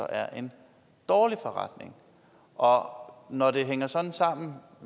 er en dårlig forretning når når det hænger sådan sammen